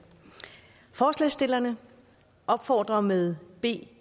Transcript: forslagsstillerne opfordrer med b